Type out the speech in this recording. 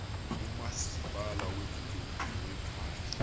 umasipala wedolophu nowephandle